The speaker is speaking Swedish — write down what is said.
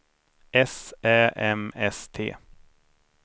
S Ä M S T